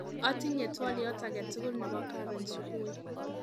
Atinye twoliot aketugul nebo karon subui